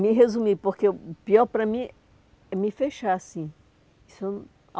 Me resumir, porque o pior para mim é me fechar assim. Isso